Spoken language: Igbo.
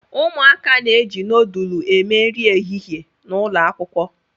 Umuaka n'eji núdúlú eme nri ehihie n'ụlọ Akwụkwọ